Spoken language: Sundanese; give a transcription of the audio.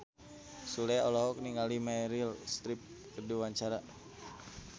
Sule olohok ningali Meryl Streep keur diwawancara